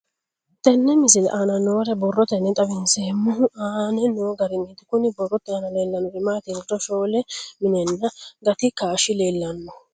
Tenne misile aana noore borroteni xawiseemohu aane noo gariniiti. Kunni borrote aana leelanori maati yiniro shoole minnanna gati kaashi leelano.